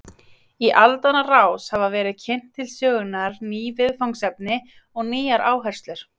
Í aldanna rás hafa verið kynnt til sögunnar ný viðfangsefni og nýjar áherslur.